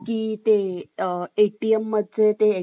ATM चे ATM चे ते मशीन होतं ना